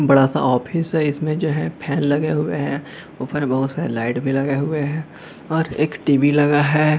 बड़ा सा ऑफिस है इसमें जो फैन लगे हुए हैंऊपर बहुत सारे लाइट भी लगे हुए हैंऔर एक टी.वी. लगा है।